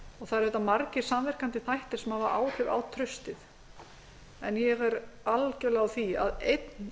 það eru auðvitað margir samverkandi þættir sem hafa áhrif á traustið en ég er algerlega á því að einn